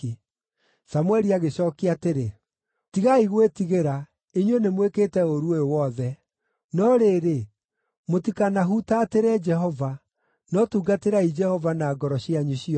Samũeli agĩcookia atĩrĩ, “Tigai gwĩtigĩra, inyuĩ nĩmwĩkĩte ũũru ũyũ wothe; no rĩrĩ, mũtikanahutatĩre Jehova, no tungatĩrai Jehova na ngoro cianyu ciothe.